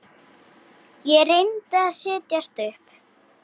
Ég reyndi að setjast upp.